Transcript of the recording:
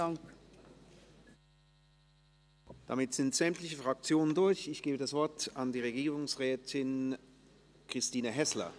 Damit sind sämtliche Fraktionen durch, ich gebe das Wort Regierungsrätin Christine Häsler.